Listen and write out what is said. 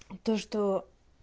то что